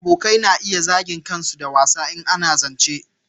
Abokanai na iya zagin kansu da wasa in ana zance